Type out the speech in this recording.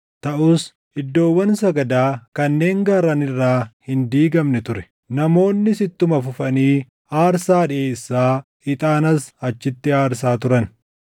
Taʼus iddoowwan sagadaa kanneen gaarran irraa hin diigamne ture; namoonnis ittuma fufanii aarsaa dhiʼeessaa, ixaanas achitti aarsaa turan.